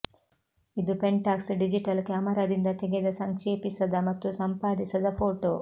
ಇದು Pentax digital ಕ್ಯಾಮರಾದಿಂದ ತೆಗೆದ ಸಂಕ್ಷೇಪಿಸದ ಮತ್ತು ಸಂಪಾದಿಸದ ಫೋಟೋ